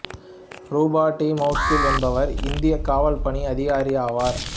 ரூபா டி மவுட்கில் என்பவர் இந்தியக் காவல் பணி அதிகாரியாவார்